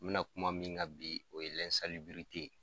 N bɛ na kuma min ka bi o ye